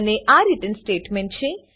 અને આ return statement છે